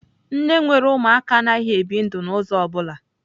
Nne nwere Ụmụaka anaghị ebi ndụ n'ụzọ ọ bụla.